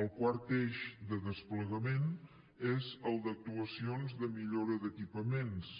el quart eix de desplegament és el d’actuacions de millora d’equipaments